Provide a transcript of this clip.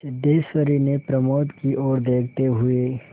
सिद्धेश्वरी ने प्रमोद की ओर देखते हुए